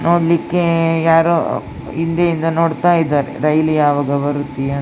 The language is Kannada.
ನೋಡ್ಲಿಕ್ಕೆ ಯಾರೋ ಹಿಂದೆ ಇಂದ ನೋಡತಾ ಇದ್ದಾರೆ ರೈಲು ಯಾವಾಗ ಬರುತ್ತೆ --